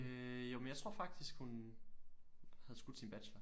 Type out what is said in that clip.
Øh jo men jeg tror faktisk hun havde skudt sin bachelor